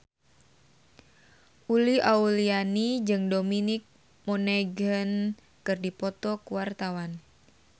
Uli Auliani jeung Dominic Monaghan keur dipoto ku wartawan